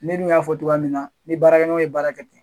Minnu y'a fɔ togo ya min na ni baarakɛ ɲɔgɔn ye baara kɛ ten.